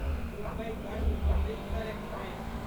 मुम्बई कस्ट अमृतसर एक्सप्रेस